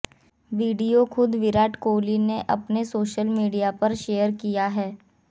video खुद विराट कोहली ने अपने सोशल मीडिया पर शेयर किया है